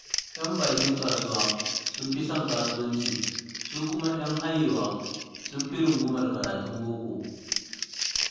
Yan bakin kasuwa sun fi son kasuwanci, su kuma 'yan hayewa sun fi rungumar karatun boko.